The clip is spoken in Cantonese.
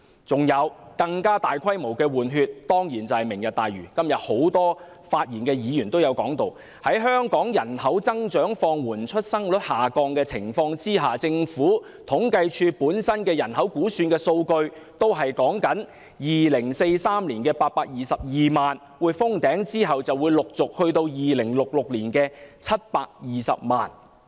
此外，更大規模的"換血"，當然是"明日大嶼"——今天多位發言的議員也提及——在香港人口增長放緩，出生率下降的情況下，政府統計處的人口估算數據也顯示 ，2043 年的822萬是人口的頂峰，其後便陸續回落至2066年的720萬。